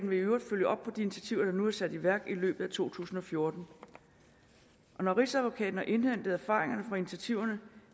vil i øvrigt følge op på de initiativer der nu er sat i værk i løbet af to tusind og fjorten og når rigsadvokaten har indhentet erfaringerne fra initiativerne